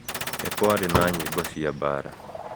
Nĩ kwarĩ na nyĩmbo cia mbaara.